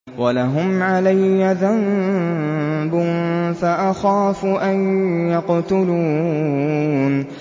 وَلَهُمْ عَلَيَّ ذَنبٌ فَأَخَافُ أَن يَقْتُلُونِ